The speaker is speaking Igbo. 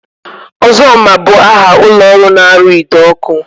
Ozoma bụ aha ụlọọrụ na-arụ ide ọkụ